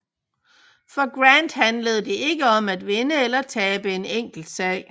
For Grant handlede det ikke om at vinde eller tabe et enkelt slag